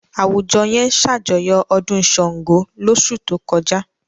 Àwùjọ yẹn ṣàjọyọ̀ ọdún Ṣàngó lóṣù tó kọjá.